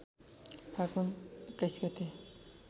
फागुन २१ गते